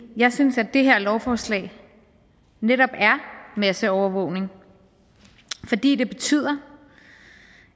jeg synes at det her lovforslag netop er masseovervågning fordi det betyder